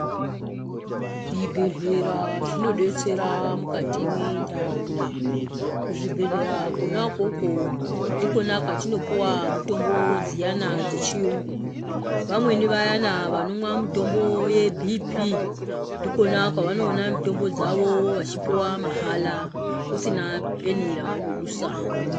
Zvibhehlera zvinodetsera mukati mwe nharaunda. Kuzvibhehlera kona ikoko ndikona kwatinopiwa mitombo dziyani dzechiyungu ,vamweni vayana vanomwa mitombo ye Bhii Pii ndikona kwavanona mitombo dzawo veipuwa mahala kusina peni raanodusa.